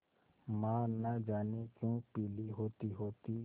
माँ न जाने क्यों पीली होतीहोती